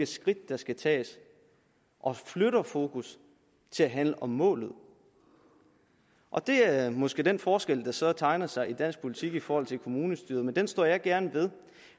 skridt der skal tages og flytter fokus til at handle om målet og det er måske den forskel der så tegner sig i dansk politik i forhold til kommunestyret men den står jeg gerne ved